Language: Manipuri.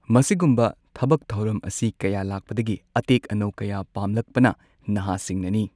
ꯃꯁꯤꯒꯨꯝꯕ ꯊꯕꯛ ꯊꯧꯔꯝ ꯑꯁꯤ ꯀꯌꯥ ꯂꯥꯛꯄꯗꯒꯤ ꯑꯇꯦꯛ ꯑꯅꯧ ꯀꯌꯥ ꯄꯥꯝꯂꯛꯄꯅ ꯅꯍꯥꯁꯤꯡꯅꯅꯤ꯫